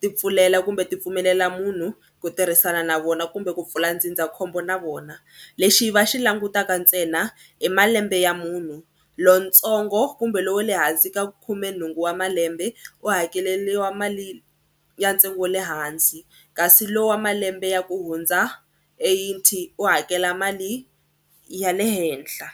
ti pfulela kumbe ti pfumelela munhu ku tirhisana na vona kumbe ku pfula ndzindzakhombo na vona. Lexi va xi langutaka ntsena i malembe ya munhu lontsongo kumbe lowa le hansi ka khumenhungu wa malembe u hakeleriwa mali ya ntsengo wa le hansi kasi lowu wa malembe ya ku hundza eighty u hakela mali ya le henhla.